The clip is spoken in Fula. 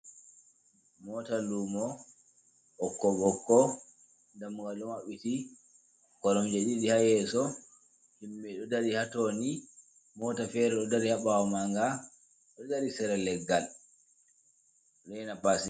Mota lumo ɓokko ɓokko damugal ɗo mabbiti, koromje ɗiɗi ha yeeso, himɓe ɗo dari ha toni, mota fere ɗo dari ha ɓawo ma nga ɗo dari sere leggal ɗo rena passenger.